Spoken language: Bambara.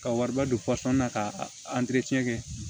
Ka wariba don na ka kɛ